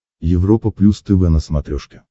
европа плюс тв на смотрешке